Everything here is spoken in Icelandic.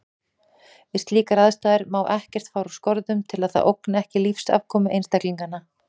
Við slíkar aðstæður má ekkert fara úr skorðum til að það ógni ekki lífsafkomu einstaklinganna.